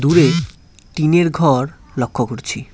দূরে টিনের ঘর লক্ষ্য করছি।